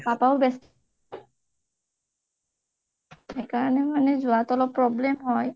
মোৰ papa ও ব্যস্ত সেইকাৰণে যোৱাটো অলপ problem হয়